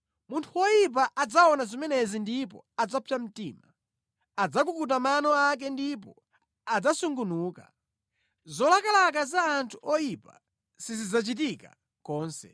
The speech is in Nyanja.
Munthu woyipa adzaona zimenezi ndipo adzapsa mtima; adzakukuta mano ake ndipo adzasungunuka. Zolakalaka za anthu oyipa sizidzachitika konse.